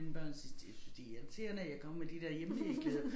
Mine børn siger de synes det irriterende at jeg kommer med med de der hjemmehæklede